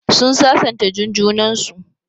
Sun sasanta Jun junan su.